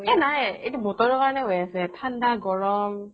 এ নাই এইটো বতৰৰ কাৰনে হৈ আছে ঠাণ্ডা গৰম